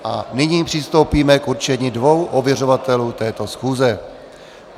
A nyní přistoupíme k určení dvou ověřovatelů této schůze.